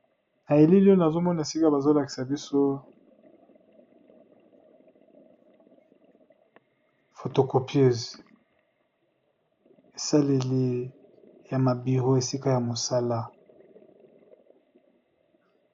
Na elili nazomona bazolakisa biso fotocopieuse esaleli ya ba bureau na musala.